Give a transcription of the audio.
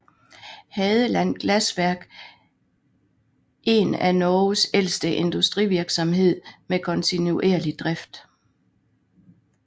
Hadeland Glassverk eren af Norges ældste industrivirksomhed med kontinuerlig drift